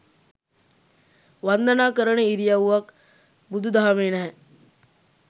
වන්දනා කරන ඉරියව්වක් බුදු දහමේ නැහැ